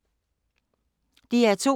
DR2